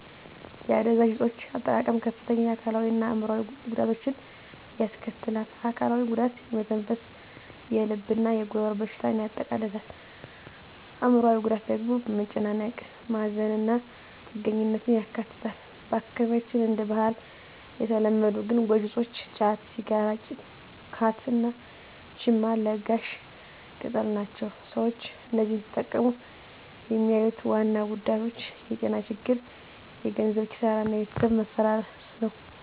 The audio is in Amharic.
የአደንዛዥ እፆች አጠቃቀም ከፍተኛ የአካላዊ እና አዕምሮአዊ ጉዳቶችን ያስከትላል። አካላዊው ጉዳት የመተንፈስ፣ የልብ እና የጉሮሮ በሽታዎችን ያጠቃልላል። አዕምሮአዊው ጉዳት ደግሞ መጨናነቅ፣ ማዘን እና ጥገኛነትን ያካትታል። በአካባቢያችን እንደ ባህል የተለመዱ ግን ጎጂ እፆች ጫት፣ ሲጋራ (ካት) እና ቺማ (ለጋሽ ቅጠል) ናቸው። ሰዎች እነዚህን ሲጠቀሙ የሚያዩት ዋና ጉዳቶች የጤና ችግሮች፣ የገንዘብ ኪሳራ እና የቤተሰብ መፈረስ ናቸው።